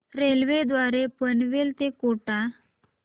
railway द्वारे पनवेल ते कोटा